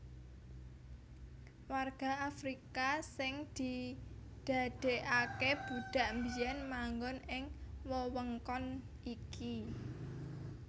Warga Afrika sing didadèkaké budhak biyèn manggon ing wewengkon iki